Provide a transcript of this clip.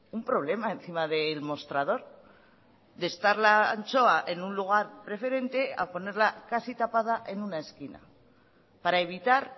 un problema encima del mostrador de estar la anchoa en un lugar preferente a ponerla casi tapada en una esquina para evitar